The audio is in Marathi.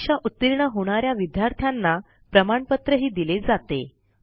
परीक्षा उतीर्ण होणा या विद्यार्थ्यांना प्रमाणपत्रही दिले जाते